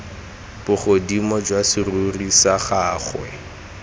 bogodimo jwa serori sa gagwe